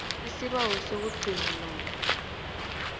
isibawo sokugcina namkha